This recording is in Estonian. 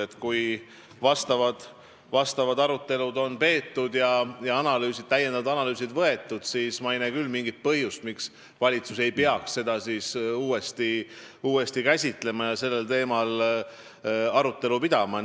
et kui arutelud on peetud ja lisaanalüüsid tehtud, ei näe ma küll mingit põhjust, miks valitsus ei peaks seda uuesti käsitlema ja sellel teemal arutelu pidama.